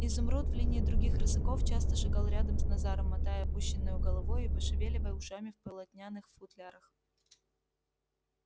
изумруд в линии других рысаков часто шагал рядом с назаром мотая опущенною головой и пошевеливая ушами в полотняных футлярах